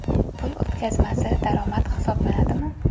Pul o‘tkazmasi daromad hisoblanadimi?.